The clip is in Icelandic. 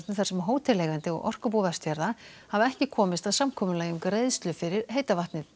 þar sem hóteleigandi og Orkubú Vestfjarða hafa ekki komist að samkomulagi um greiðslu fyrir heita vatnið